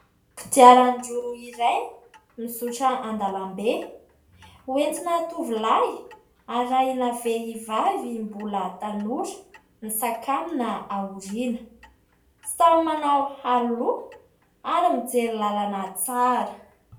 Kodiran-droa iray mizotra an-dalambe hoentina tovolahy arahina vehivavy mbola tanora misakambina aoriana. Samy manao aro loha ary mijery lalana tsara.